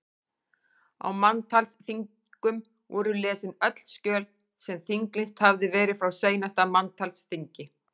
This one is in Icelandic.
Á manntalsþingum voru lesin öll skjöl sem þinglýst hafði verið frá seinasta manntalsþingi.